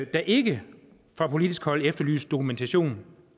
der ikke fra politisk hold efterlyses dokumentation